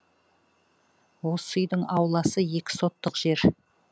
осы үйдің ауласы екі сотық жер